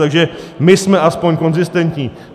Takže my jsme aspoň konzistentní.